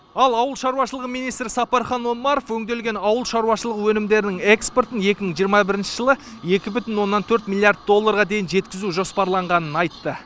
ал ауыл шаруашылығы министрі сапархан омаров өңделген ауыл шаруашылығы өнімдерінің экспортын екі мың жиырма бірінші жылы екі бүтін оннан төрт миллиард долларға дейін жеткізу жоспарланғанын айтты